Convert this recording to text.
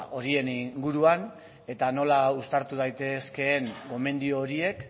horien inguruan eta nola uztartu daitezkeen gomendio horiek